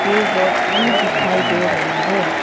ये रोड भी दिखाई दे रहा है।